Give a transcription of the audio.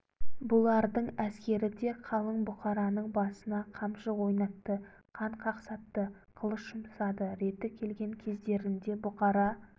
бұлардың әскері де қалың бұқараның басына қамшы ойнатты қан қақсатты қылыш жұмсады реті келген кездерінде бұқара